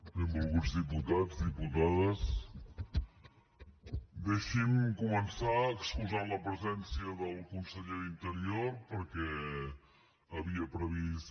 benvolguts diputats diputades deixi’m començar excusant la presència del conseller d’interior perquè havia previst